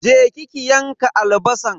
Je ki ki yanka albasan.